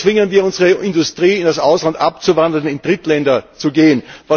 So zwingen wir unsere Industrie, ins Ausland abzuwandern, in Drittländer zu gehen.